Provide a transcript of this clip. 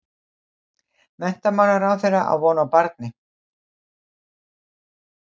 Menntamálaráðherra á von á barni